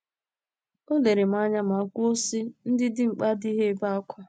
O lere m anya ma kwuo, sị ,Ndị dimkpa adịghị ebe ákwá.